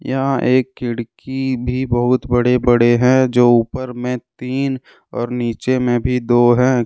यहां एक खिड़की भी बहुत बड़े बड़े हैंजो ऊपर में तीन और नीचे में भी दो है।